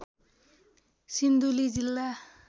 सिन्धुली जिल्ला